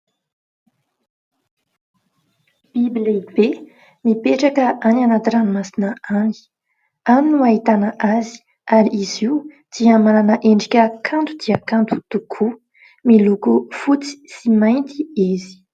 Biby lehibe mipetraka any anaty ranomasina any. Any no ahitana azy, ary izy io dia manana endrika kanto dia kanto tokoa. Miloko fotsy sy mainty izy.